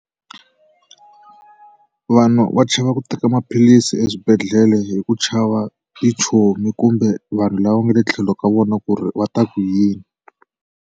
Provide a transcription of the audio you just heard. Vanhu va chava ku teka maphilisi eswibedhlele hi ku chava tichomi kumbe vanhu lava nga le tlhelo ka vona ku ri va ta ku yini.